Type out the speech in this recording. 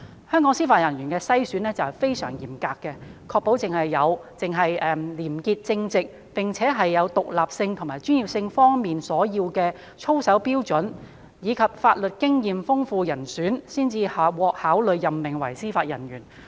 香港對司法人員的篩選非常嚴格，確保只有廉潔正直，並且符合獨立性和專業性所要求的操守標準，以及具備豐富法律經驗的人選，才會獲考慮任命為司法人員。